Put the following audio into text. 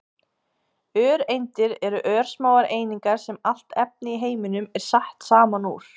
öreindir eru örsmáar einingar sem allt efni í heiminum er sett saman úr